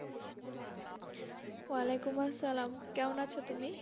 য়া আলাইকুম আসসালাম কেমন আছো তুমি